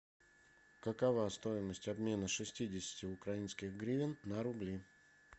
какова стоимость обмена шестидесяти украинских гривен на рубли